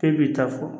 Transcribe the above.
K'e b'i ta fɔ